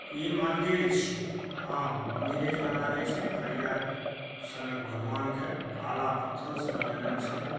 इ मंदिर छीये। हां मंदिरे जेका लागे छै। करिया सनक भगवान के काला पत्थर से बनाइने छै।